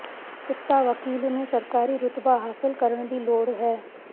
ਕਿੱਤਾ ਵਕੀਲ ਨੂੰ ਸਰਕਾਰੀ ਰੁਤਬਾ ਹਾਸਲ ਕਰਨ ਦੀ ਲੋੜ ਹੈ